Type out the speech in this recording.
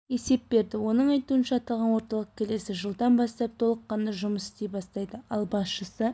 есеп берді оның айтуынша аталған орталық келесі жылдан бастап толыққанды жұмыс істей бастайды ал басшысы